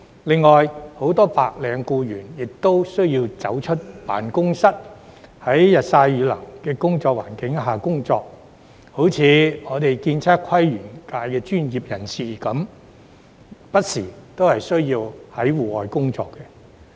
另外，很多白領僱員亦需要踏出辦公室，在日曬雨淋的環境下工作，例如建測規園界的專業人士亦不時需要在戶外工作。